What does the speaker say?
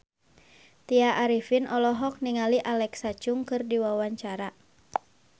Tya Arifin olohok ningali Alexa Chung keur diwawancara